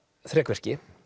þrekvirki